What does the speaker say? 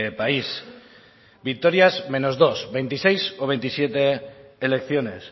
país victorias menos dos veintiséis o veintisiete elecciones